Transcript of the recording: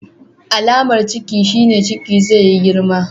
Alamar Ciki shine Ciki zai yi girma.